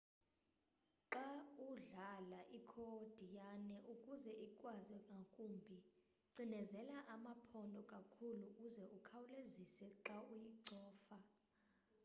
xa udlala ikhodiyane ukuze ikhwaze ngakumbi cinezela amaphondo kakhulu uze ukhawulezise xa uyicofa